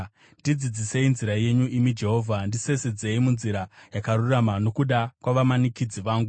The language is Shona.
Ndidzidzisei nzira yenyu, imi Jehovha; ndisesedzei munzira yakarurama nokuda kwavamanikidzi vangu.